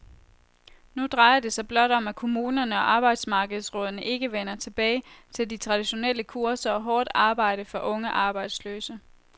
Nu drejer det sig blot om, at kommunerne og arbejdsmarkedsrådene ikke vender tilbage til de traditionelle kurser og hårdt arbejde for unge arbejdsløse.